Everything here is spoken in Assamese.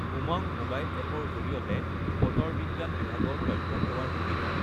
উমংগ মোবাইল এপ ৰ জৰিয়তে বতৰ বি়জ্ঞান বিভাগৰ তথ্য সেৱাৰ সুবিধা